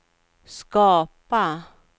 skapa